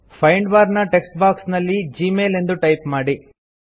find bar ನ text box ನಲ್ಲಿ Gmail ಎಂದು ಟೈಪ್ ಮಾಡಿ